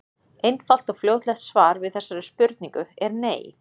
Einfalt og fljótlegt svar við þessari spurningu er nei.